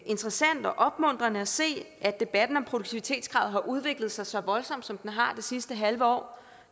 interessant og opmuntrende at se at debatten om produktivitetskravet har udviklet sig så voldsomt som den har i det sidste halve år